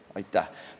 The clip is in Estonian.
Aitäh!